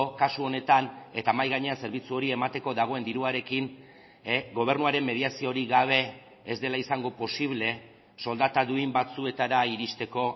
kasu honetan eta mahai gainean zerbitzu hori emateko dagoen diruarekin gobernuaren mediaziorik gabe ez dela izango posible soldata duin batzuetara iristeko